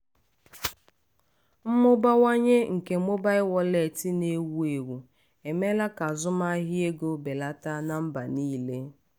mmụbawanye nke mobail wọleetị na- ewu ewu emeela ka azụmahịa ego belata na mba niile.